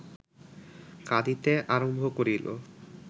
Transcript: কাঁদিতে আরম্ভ করিল